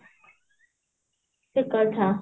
ଠିକ କଥା